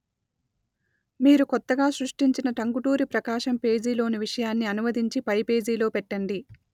మీరు కొత్తగా సృష్టించిన టంగుటూరి ప్రకాశం పేజీ లోని విషయాన్ని అనువదించి పై పేజీలో పెట్టండి